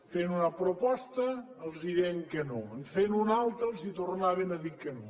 feien una proposta els deien que no en feien una altra els tornaven a dir que no